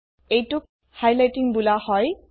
এইটোত হাইলাইটিং বোলা হয়